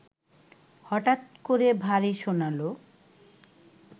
হঠাৎ করে ভারী শোনাল